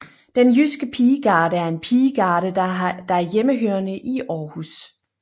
Den Jyske Pigegarde er en pigegarde der er hjemhørende i Århus